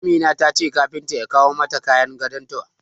Amina ta ce kafinta ya kawo mata kayan gadon ta.